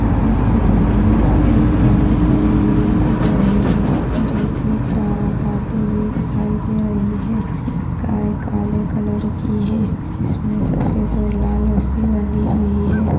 इस चित्र मे एक गाय खड़ी हुई दिख रही है जो की चारा खाते हुए दिखाई दे रही है यह गाय काले कलर की है इसमे सफ़ेद और लाल रस्सी बंदी हुई है।